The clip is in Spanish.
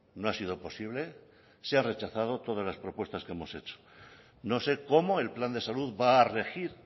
no ha sido posible se han rechazado todas las propuestas que hemos hecho no sé como el plan de salud va a regir